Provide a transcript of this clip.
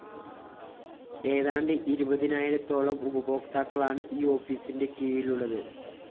ഏതാണ്ട് ഇരുപതിനായിരത്തോളം ഉപഭോക്താക്കളാണ് ഈ ഓഫീസിന്റെ കീഴിലുള്ളത്